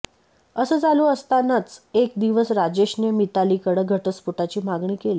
असं चालू असतानच एक दिवस राजेशने मीतालीकडं घटस्फोटाची मागणी केली